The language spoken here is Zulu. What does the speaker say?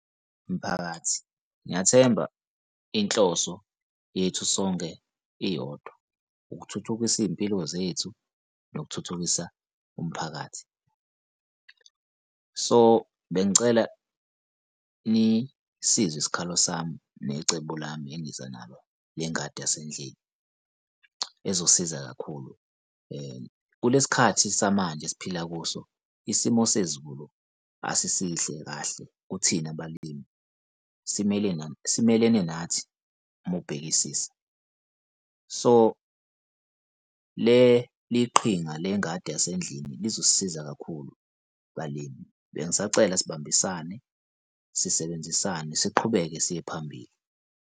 Miphakathi ngiyathemba inhloso yethu sonke iyodwa, ukuthuthukisa iy'mpilo zethu nokuthuthukisa umphakathi. So, bengicela nisizwe isikhalo sami necebo lami engiza nalo nengadi yasendlini ezosiza kakhulu. kulesi khathi samanje esiphila kuso isimo sezulu asisihle kahle kuthina balimi simelene simelene nathi uma ubhekisisa. So, leli qhinga lengadi yasendlini lizosisiza kakhulu balimi. Bengisacela sibambisane sisebenzisane siqhubeke siye phambili.